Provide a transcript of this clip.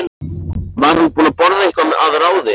Var hún búin að borða eitthvað að ráði?